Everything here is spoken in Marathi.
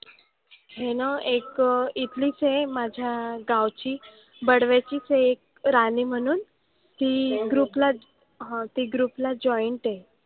हे ना एक इथलीच आहे माझ्या गावची बडव्याचीच आहे एक राणी म्हणून ती group लाच हां ती group ला joint आहे.